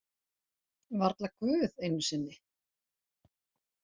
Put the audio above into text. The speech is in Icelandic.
Varla Guð einu sinni!